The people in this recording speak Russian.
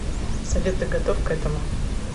салют ты готов к этому